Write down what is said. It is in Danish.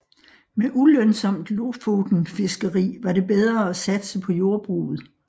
Med ulønsomt lofotenfiskeri var det bedre at satse på jordbruget